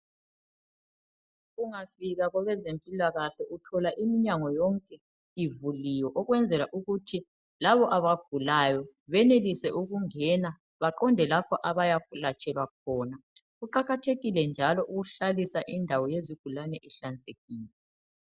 Ungafika kwabezempilakahle uthola iminyango yonke ivuliwe ukwenzela ukuthi labo abagulayo benelise ukungena baqonde lapho abayakwelatshelwa khona. Kuqakathekile njalo ukuhlalisa indawo yezigulane ihlanzekile.